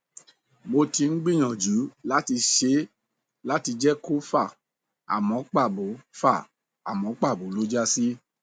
mo ti ń gbìyàjú láti ṣe láti lè jẹ kó fà àmọ pàbó fà àmọ pàbó ló já sí